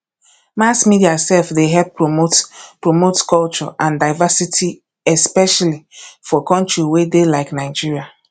mass media sef dey help promote promote culture and diversity especially for country wey dey like nigeria